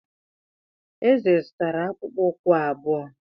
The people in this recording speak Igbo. Eze zụtara akpụkpọ ụkwụ abụọ.